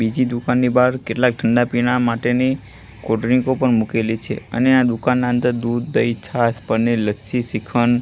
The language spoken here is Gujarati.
બીજી દુકાનની બાર કેટલાક ઠંડા પીણા માટેની કોલ્ડ્રીંકો પણ મૂકેલી છે અને આ દુકાનના અંદર દૂધ દહીં છાસ પનીર લચ્છી શ્રીખંડ--